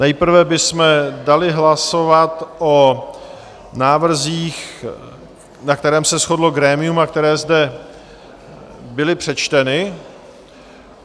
Nejprve bychom dali hlasovat o návrzích, na kterých se shodlo grémium a které zde byly přečteny.